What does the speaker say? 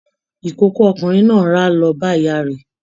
Ikòkò ọkùnrin náà ra lọ bá ìyá rẹ.